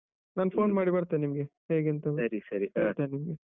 ನಾನ್ phone ಮಾಡಿ ಬರ್ತೇನೆ ನಿಮ್ಗೇ. ಹೇಗೆ ಅಂತ.